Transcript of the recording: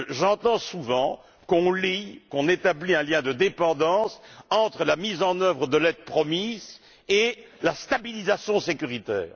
J'entends souvent qu'on établit un lien de dépendance entre la mise en œuvre de l'aide promise et la stabilisation sécuritaire.